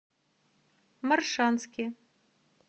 моршанске